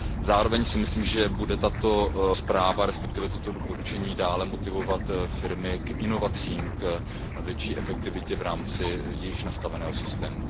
Zároveň si myslím, že bude tato zpráva, respektive toto doporučení, dále motivovat firmy k inovacím, k větší efektivitě v rámci již nastaveného systému.